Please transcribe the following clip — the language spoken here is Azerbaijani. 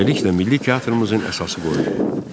Beləliklə milli teatrımızın əsası qoyuldu.